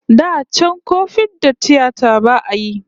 Da can ko fiɗar tiyata ba'a yi